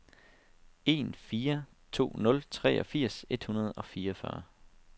en fire to nul treogfirs et hundrede og fireogfyrre